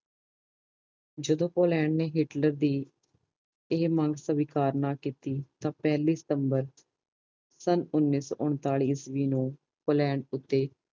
ਜਦੋ Poland Hitler ਦੀ ਇਹ ਮੰਗ ਸਵੀਕਾਰ ਨਾ ਕੀਤੀ ਤਾਂ ਪੈਲੀ ਸਤੰਬਰ ਸਨ ਓਨੀ ਸੋ ਉਨਤਾਲੀ ਈਸਵੀ ਨੂੰ ਪੋਲੈਂਡ ਉੱਤੇ